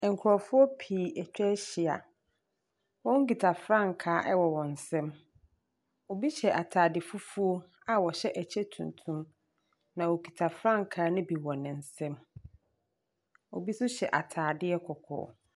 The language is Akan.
Ɛnkorɔfoɔ pii atwa ahyia. Wɔn kita frankaa ɛwɔ wɔn nsam. Ɔbi hyɛ ataade fufuo a ɔhyɛ ɛkyɛ tuntum na ɔkita frankaa ne bi wɔ ne nsam. Ɔbi nso hyɛ ataadeɛ kɔkɔɔ.